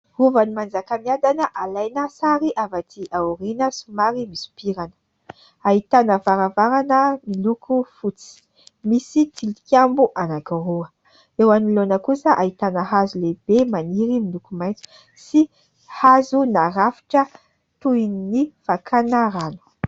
Rovan'i Manjakamiadana alaina sary avy aty aoriana somary misopirana. Ahitana varavarana miloko fotsy. Misy tilikambo anankiroa. Eo anoloana kosa ahitana hazo lehibe maniry miloko maitso sy hazo narafitra toy ny fakana rano.